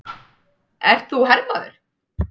Ert þú hermaður?